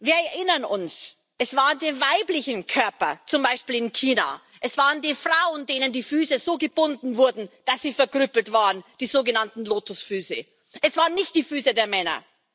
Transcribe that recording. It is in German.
Wir erinnern uns Es waren die weiblichen Körper, zum Beispiel in China, es waren die Frauen, denen die Füße so gebunden wurden, dass sie verkrüppelt wurden die sogenannten Lotusfüße es waren nicht die Füße der Männer.